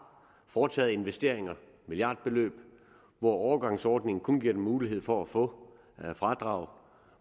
foretaget investeringer milliardbeløb hvor overgangsordningen kun giver dem mulighed for at få fradrag og